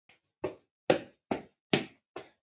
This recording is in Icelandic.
Í blíðu og stríðu.